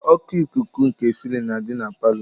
Oku ikuku nke silin na adị na palọ.